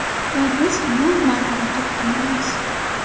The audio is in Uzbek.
Va biz bu marrada to‘xtamaymiz.